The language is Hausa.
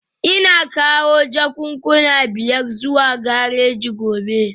Ina kawo jakunkuna biyar zuwa gareji gobe